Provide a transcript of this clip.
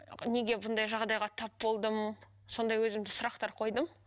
неге бұндай жағдайға тап болдым сондай өзімді сұрақтар қойдым